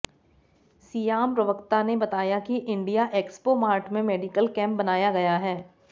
SIAM प्रवक्ता ने बताया कि इंडिया एक्सपो मार्ट में मेडिकल कैंप बनाया गया है